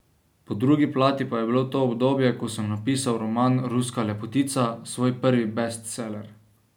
Po drugi plati pa je bilo to obdobje, ko sem napisal roman Ruska lepotica, svoj prvi bestseller.